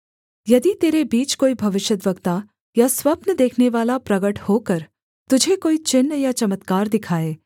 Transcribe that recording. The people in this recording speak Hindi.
यदि तेरे बीच कोई भविष्यद्वक्ता या स्वप्न देखनेवाला प्रगट होकर तुझे कोई चिन्ह या चमत्कार दिखाए